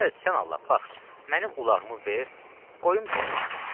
Gəl sən Allah bax, mənim ulağımı ver, qoyum gedim işimə.